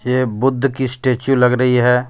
ये बुद्ध की स्टेचू लग रही है.